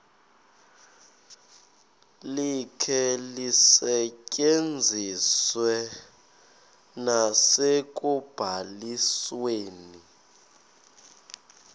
likhe lisetyenziswe nasekubalisweni